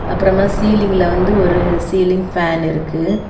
அப்புறமா சீலிங்ல வந்து ஒரு சீலிங் ஃபேன் இருக்கு.